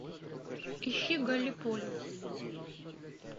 ищи галлиполи